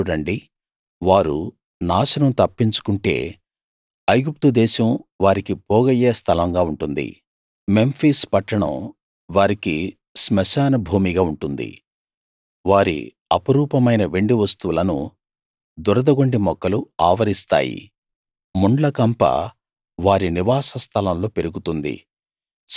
చూడండి వారు నాశనం తప్పించుకుంటే ఐగుప్తుదేశం వారికి పోగయ్యే స్థలంగా ఉంటుంది మెంఫిస్ పట్టణం వారికి శ్మశాన భూమిగా ఉంటుంది వారి అపురూపమైన వెండివస్తువులను దురదగొండి మొక్కలు ఆవరిస్తాయి ముండ్లకంప వారి నివాస స్థలంలో పెరుగుతుంది